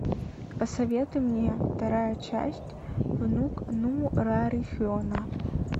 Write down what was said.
посоветуй мне вторая часть внук нурарихена